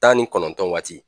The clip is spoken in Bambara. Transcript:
Tan ni kɔnɔntɔn waati